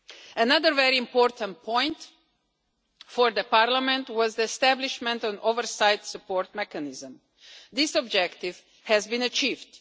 Another very important point for Parliament was the establishment of an oversight support mechanism. This objective has been achieved.